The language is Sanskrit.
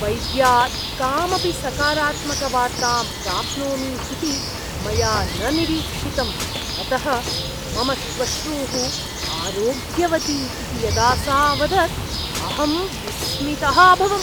वैद्यात् कामपि सकारात्मकवार्तां प्राप्नोमि इति मया न निरीक्षितम्, अतः मम श्वश्रूः आरोग्यवती इति यदा सा अवदत् अहं विस्मितः अभवम्।